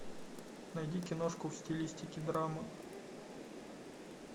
найди киношку в стилистике драмы